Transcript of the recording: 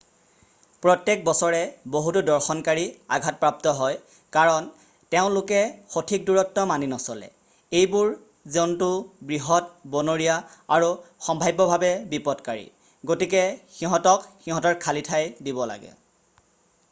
প্ৰত্যেক বছৰে বহুতো দৰ্শনকাৰী আঘাতপ্ৰাপ্ত হয় কাৰণ তেওঁলোকে সঠিক দূৰত্ব মানি নচলে। এইবোৰ জন্তু বৃহৎ বনৰীয়া আৰু সম্ভাব্যভাৱে বিপদকাৰী গতিকে সিহঁতক সিহঁতৰ খালি ঠাই দিব লাগে।